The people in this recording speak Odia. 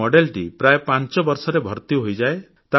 ଏହି ମଡେଲଟି ପ୍ରାୟ ପାଞ୍ଚ ବର୍ଷରେ ଭର୍ତ୍ତି ହୋଇଯାଏ